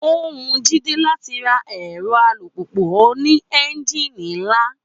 Ó wu Jídé láti ra ẹ̀rọ alùpùpù oní ẹ́ńjìnì ńlá